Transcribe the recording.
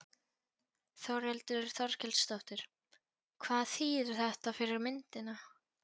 Þórhildur Þorkelsdóttir: Hvað þýðir þetta fyrir myndina?